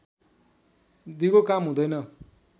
दिगो काम हुँदैन